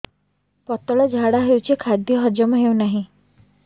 ପତଳା ଝାଡା ହେଉଛି ଖାଦ୍ୟ ହଜମ ହେଉନାହିଁ